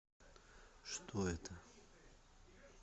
что это